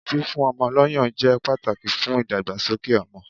Fífún ọmọ lọ́ yàn jẹ́ pàtàkì fún ìdàgbàsókè ọmọ.